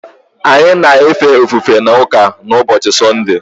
Anyị na-efe ofufe n’ụka n’ụbọchị Sọnde.